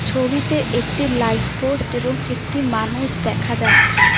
ছবিতে একটি light post এবং একটি মানুষ দেখা যাচ্ছে।